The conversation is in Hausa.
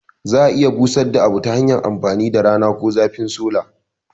Za a iya busadda abu tahanyar amfani da rana ko zafin sola